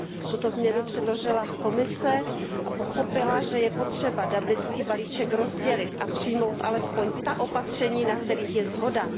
Tuto změnu předložila Komise a pochopila, že je potřeba dublinský balíček rozdělit a přijmout alespoň ta opatření, na kterých je shoda.